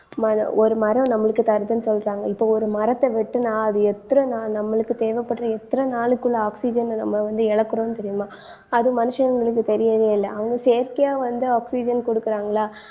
மன~ ஒரு மரம் நம்மளுக்கு தருதுன்னு சொல்றாங்க. இப்போ ஒரு மரத்த வெட்டுனா அது எத்தன நாள் நம்மளுக்கு தேவைப்படுற எத்தன நாளுக்குள்ள oxygen அ நம்ம வந்து இழக்கிறோம் தெரியுமா அது மனுஷங்களுக்கு தெரியவே இல்லை. அவங்க செயற்கையா வந்து oxygen கொடுக்குறாங்களா